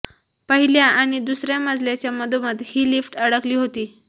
पहिल्या आणि दुसऱ्या मजल्याच्या मधोमध ही लिफ्ट अडकली होती